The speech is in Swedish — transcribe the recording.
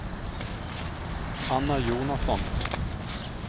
Anna Jonasson